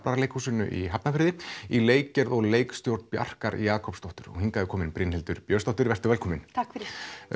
Gaflaraleikhúsinu í Hafnarfirði í leikgerð og leikstjórn Bjarkar Jakobsdóttur og hingað er komin Brynhildur Björnsdóttir vertu velkomin takk fyrir